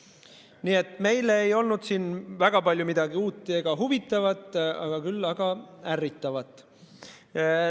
Nii et meile ei olnud siin väga palju uut ega huvitavat, küll aga ärritavat.